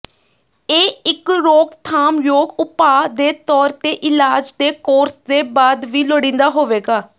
ਇਹ ਇੱਕ ਰੋਕਥਾਮਯੋਗ ਉਪਾਅ ਦੇ ਤੌਰ ਤੇ ਇਲਾਜ ਦੇ ਕੋਰਸ ਦੇ ਬਾਅਦ ਵੀ ਲੋੜੀਂਦਾ ਹੋਵੇਗਾ